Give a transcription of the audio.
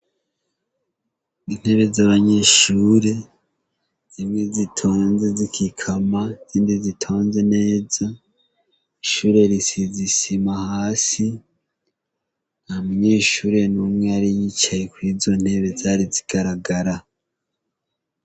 Intebe z'abanyeshure zimwe zitonze zikikama izindi zitonze neza, ishure risize isima hasi nta munyeshure numwe yari yicaye kwizo ntebe zari zigaragara.